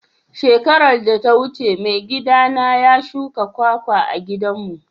Shekaran da ta wuce maigida na ya shuka kwakwa a'gidan mu.